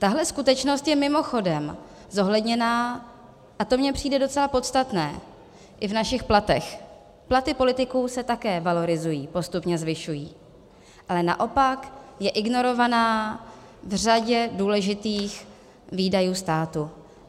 Tahle skutečnost je mimochodem zohledněna, a to mi přijde docela podstatné, i v našich platech, platy politiků se také valorizují, postupně zvyšují, ale naopak je ignorovaná v řadě důležitých výdajů státu.